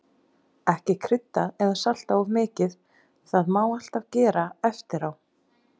Ekki krydda eða salta of mikið, það má alltaf gera eftirá.